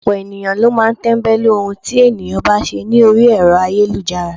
Ọ̀pọ̀lọpọ̀ ènìyàn ló máa ń tẹ́ńbẹ́lú ohun tí ènìyàn bá ṣe ní orí Ẹ̀rọ ayélujára.